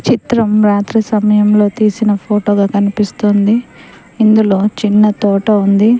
చిత్రం రాత్రి సమయంలో తీసిన ఫోటో గా కనిపిస్తోంది ఇందులో చిన్న తోట ఉంది.